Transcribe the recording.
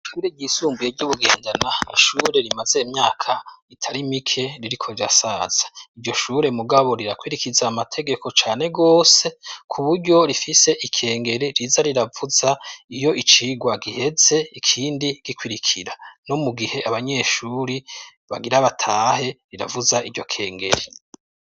Ishure ryisumbuye ry'i Bugendana, n'ishure rimaze imyaka itari mike ririko rirasaza, iryo shure mugabo rirakurikiza amategeko cane gose kuburyo rifise ikengeri riza riravuza iyo icigwa giheze ikindi gikurikira, no mugihe abanyeshure bagira batahe riravuza iryo kengeri.